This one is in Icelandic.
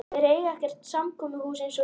Þeir eiga ekkert samkomuhús eins og við.